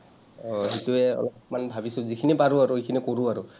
আহ সেইটোৱেই অলপমান ভাবি-চিন্তি যিখিনি পাৰোঁ আৰু সেইখিনি কৰোঁ আৰু।